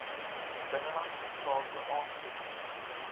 binnelandse sake aansoek